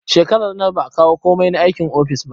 Shekarar nan ba a kawo komai na aikin office ba